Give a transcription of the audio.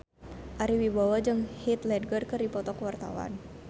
Ari Wibowo jeung Heath Ledger keur dipoto ku wartawan